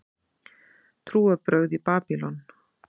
Trúarbrögð í Babýlon